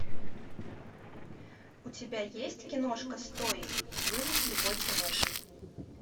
у тебя есть киношка стоик выжить любой ценой